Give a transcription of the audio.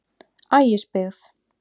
Ægisbyggð